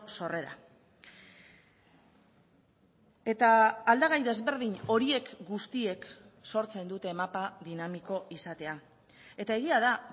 sorrera eta aldagai desberdin horiek guztiek sortzen dute mapa dinamiko izatea eta egia da